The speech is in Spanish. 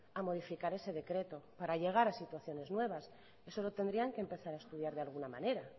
a modificar ese decreto para llegar a situaciones nuevas eso lo tendrían que empezar a estudiar de alguna manera